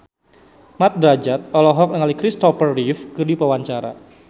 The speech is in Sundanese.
Mat Drajat olohok ningali Kristopher Reeve keur diwawancara